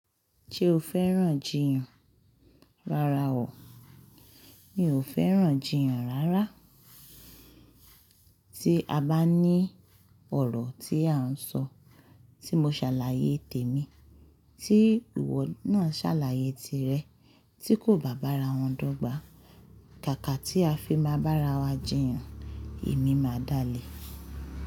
Ṣé o fẹ́ràn jiyàn? Rárá o, mi ò fẹ́ràn jiyàn rárá. Tí a bá ní ọ̀rọ̀ tí à ń sọ, tí mo ṣàlàyé tèmi, tí ìwọ náà ṣàlàyé tirẹ̀, tí kò bá bá ara wọn dọ́gba, kàkà tí a fi máa bá ara wa jiyàn, èmi máa dáa lé.